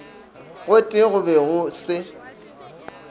gotee go be go se